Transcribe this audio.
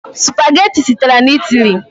Spageti sitere na Italy.